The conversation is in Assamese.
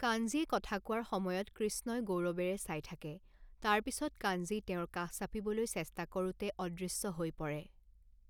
কাঞ্জীয়ে কথা কোৱাৰ সময়ত কৃষ্ণই গৌৰৱেৰে চাই থাকে, তাৰ পিছত কাঞ্জী তেওঁৰ কাষ চাপিবলৈ চেষ্টা কৰোঁতে অদৃশ্য হৈ পৰে।